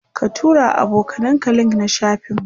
ka turawa abokanan ka link na shafin mu